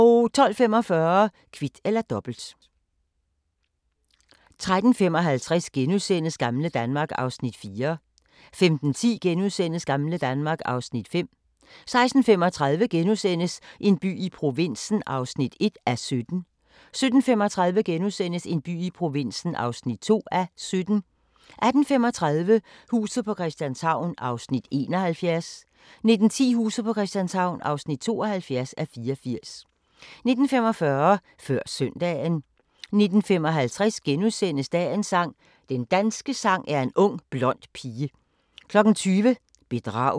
12:45: Kvit eller Dobbelt 13:55: Gamle Danmark (Afs. 4)* 15:10: Gamle Danmark (Afs. 5)* 16:35: En by i provinsen (1:17)* 17:35: En by i provinsen (2:17)* 18:35: Huset på Christianshavn (71:84) 19:10: Huset på Christianshavn (72:84) 19:45: Før Søndagen 19:55: Dagens sang: Den danske sang er en ung blond pige * 20:00: Bedrag